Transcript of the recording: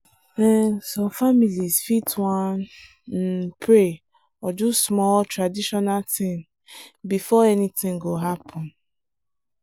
um some families fit wan um pray or do small traditional thing before anything go happen.